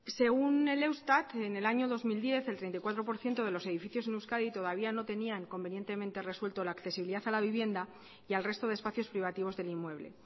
según el eustat en el año dos mil diez el treinta y cuatro por ciento de los edificios en euskadi todavía no tenían convenientemente resuelto la accesibilidad a la vivienda y al resto de espacios privativos del inmueble